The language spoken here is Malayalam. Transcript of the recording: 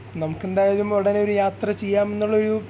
നമക്ക് എന്തായാലും ഉടനേ ഒരു യാത്ര ചെയ്യാന്ന് ഉള്ള ഒരു